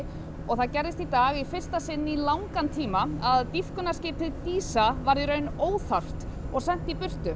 og það gerðist í dag í fyrsta sinn í langan tíma að dýpkunarskipið dísa varð í raun óþarft og sent í burtu